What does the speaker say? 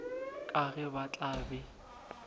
ka ge ba tla be